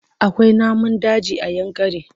Akwai namun daji a Yankari.